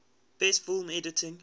best film editing